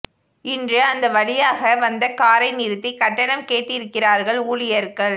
இன்று அந்த வழியாக வந்த காரை நிறுத்தி கட்டணம் கேட்டிருக்கிறார்கள் ஊழியர்கள்